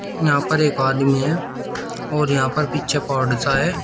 यहां पर एक आदमी है और यहां पर पीछे पहाड़ सा है।